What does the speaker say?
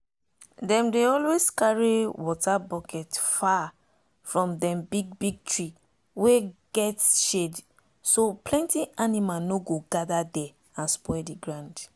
dem dey always carry water bucket far from dem big big tree wey get shadeso plenty animal no go gather there and spoil the ground.